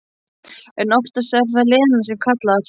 En oftast er það Lena sem kallar.